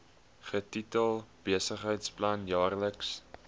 getitel besigheidsplan jaarlikse